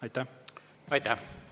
Aitäh!